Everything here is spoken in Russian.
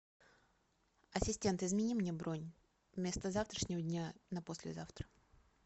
ассистент измени мне бронь вместо завтрашнего дня на послезавтра